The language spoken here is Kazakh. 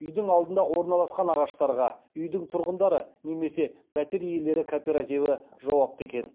үйдің алдында орналасқан ағаштарға үйдің тұрғындары немесе пәтер иелері кооперативі жауапты екен